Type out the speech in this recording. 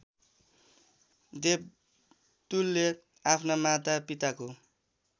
देवतुल्य आफ्ना मातापिताको